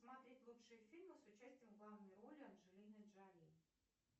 смотреть лучшие фильмы с участием в главной роли анджелины джоли